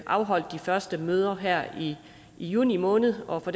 afholdt de første møder her i juni måned og